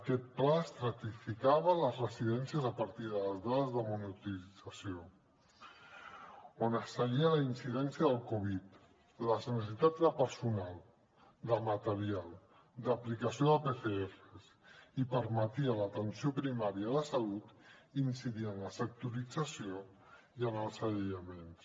aquest pla estratificava les residències a partir de les dades de monitorització on es seguia la incidència del covid les necessitats de personal de material d’aplicació de pcrs i permetia a l’atenció primària de salut incidir en la sectorització i en els aïllaments